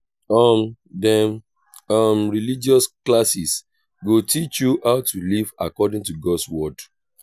um dem um religious classes go teach you how to live according to god's word.